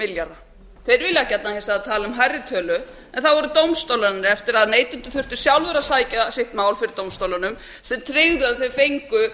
milljarða þeir eru hins vegar að tala um hærri tölu en það voru dómstólarnir eftir að neytendur þurftu sjálfir að sækja sitt mál fyrir dómstólunum sem tryggðu það þeir fengu